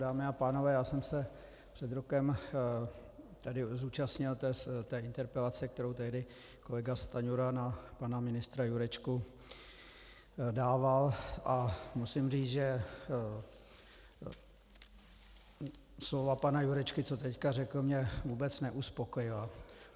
Dámy a pánové, já jsem se před rokem tady zúčastnil té interpelace, kterou tehdy kolega Stanjura na pana ministra Jurečku dával, a musím říct, že slova pana Jurečky, co teď řekl, mě vůbec neuspokojila.